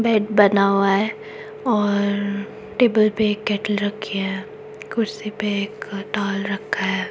Bed बना हुआ है और टेबल पे एक केटल रखी है कुर्सी पे एक टाल रखा है।